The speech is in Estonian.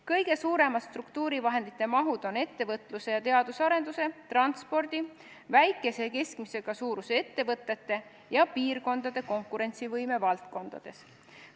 Kõige suuremad struktuurivahendite mahud on ettevõtluse ja teaduse arenduse, transpordi, väikese ja keskmise suurusega ettevõtete ja piirkondade konkurentsivõime valdkonnas.